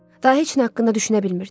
Daha heç nə haqqında düşünə bilmirdim.